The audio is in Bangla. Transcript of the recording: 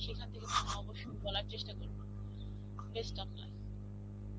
সেইখান থেকে তোমায় অবশ্যই বলার চেষ্টা করবো. best of luck.